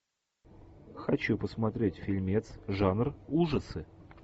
хочу посмотреть фильмец жанр ужасы